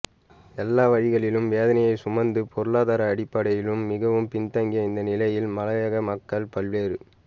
எல்லா வழிகளிலும் வேதனையைசுமந்து பொருளாதார அடிப்படையிலும் மிகவும் பின்தங்கிய இந்த நிலையில் மலையக மக்கள் பல்வேறு